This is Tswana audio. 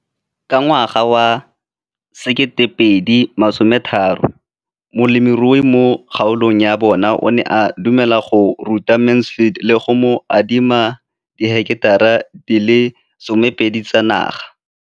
Ka ngwaga wa 2013, molemirui mo kgaolong ya bona o ne a dumela go ruta Mansfield le go mo adima di heketara di le 12 tsa naga.